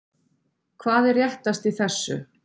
Hvað er réttast í þessu?